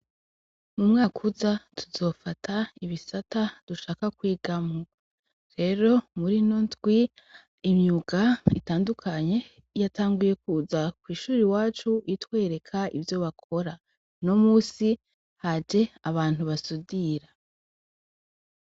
Mu mwaka uza tuzofata ibisata dushaka kwigamwo rero murino ndwi imyuga itandukanye yatanguye kuza kw'ishure iwacu itwereka ivyo bakora no musi haje abantu basudira.